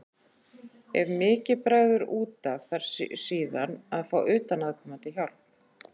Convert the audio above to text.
Ef mikið bregður út af þarf síðan að fá utanaðkomandi hjálp.